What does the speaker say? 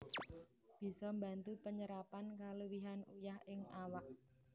Bisa mbantu penyerapan kaluwihan uyah ing awak